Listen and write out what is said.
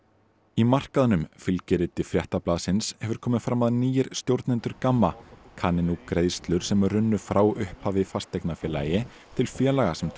í markaðnum fylgiriti Fréttablaðsins hefur komið fram að nýir stjórnendur GAMMA kanni nú greiðslur sem runnu frá upphafi fasteignafélagi til félaga sem